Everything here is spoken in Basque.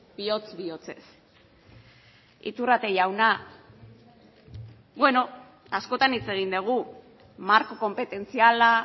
bihotz bihotzez iturrate jauna askotan hitz egin dugu marko konpetentziala